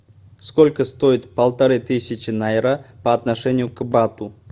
сколько стоит полторы тысячи найра по отношению к бату